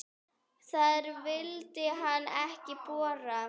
Þar vildi hann ekki bora.